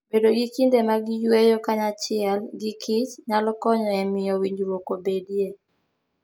Bedo gi kinde mag yueyo kanyachiel gikich nyalo konyo e miyo winjruok obedie.